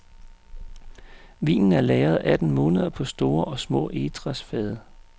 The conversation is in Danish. Vinen er lagret atten måneder på store og små egetræsfade.